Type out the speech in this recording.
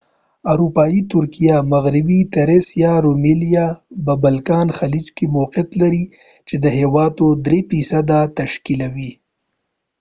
اروپایي ترکیه مغربي تریس یا رومیلیا به بالکان خلیج کې موقیعت لری چې د هیواد %3 تشکیلوی